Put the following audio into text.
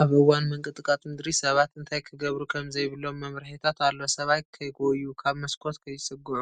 ኣብ እዋን ምንቅጥቃጥ ምድሪ ሰባት እንታይ ክገብሩ ከምዘይብሎም መምርሒታት ኣሎ። ሰባት ከይጎዩ፡ ካብ መስኮት ከይጽግዑ፡